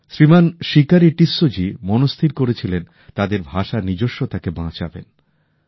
শ্রীমান শিকারি টিসসো জী মনস্থির করেছিলেন তাদের ভাষার নিজস্বতাকে বাঁচাবেন